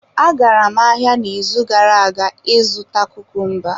Agara m ahịa n'izu gara aga ịzụta kukumba.